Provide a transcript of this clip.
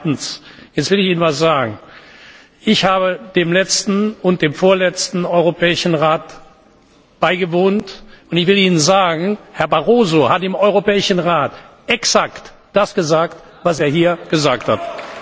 Zweitens will ich Ihnen etwas sagen Ich habe dem letzten und dem vorletzten Europäischen Rat beigewohnt, und Herr Barroso hat im Europäischen Rat exakt das gesagt, was er hier gesagt hat.